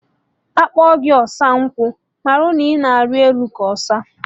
Akpọ gị ọsa nkwa, marụ na ịna ari elu ka ọsa